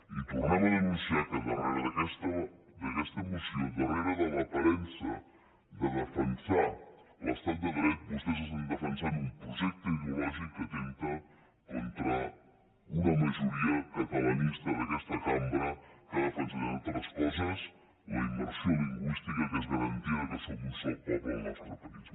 i tornem a denunciar que darrere d’aquesta moció darrere de l’aparença de defensar l’estat de dret vostès estan defensant un projecte ideològic que atempta contra una majoria catalanista d’aquesta cambra que ha defensat entre altres coses la immersió lingüística que és garantia que som un sol poble al nostre país